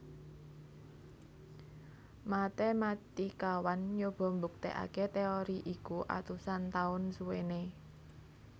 Matéematikawan nyoba mbuktèkaké téori iku atusan taun suwéné